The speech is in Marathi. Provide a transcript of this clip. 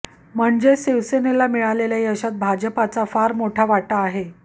म्हणजेच शिवसेनेला मिळालेल्या यशात भाजपचा फार मोठा वाटा आहे